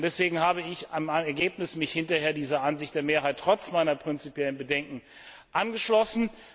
Deswegen habe ich mich im Ergebnis hinterher dieser Ansicht der Mehrheit trotz meiner prinzipiellen Bedenken angeschlossen.